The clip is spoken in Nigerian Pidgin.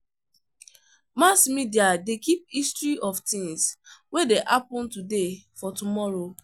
Mass media de keep history of things wey de happen today for tomorrow